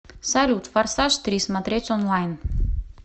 салют форсаж три смотреть онлайн